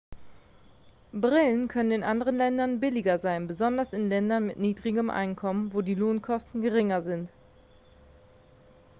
brillen können in anderen ländern billiger sein besonders in ländern mit niedrigem einkommen wo die lohnkosten geringer sind